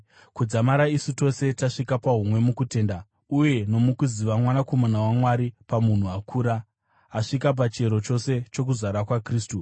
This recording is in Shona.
kudzamara isu tose tasvika pahumwe mukutenda uye nomukuziva Mwanakomana waMwari napamunhu akura, asvika pachiyero chose chokuzara kwaKristu.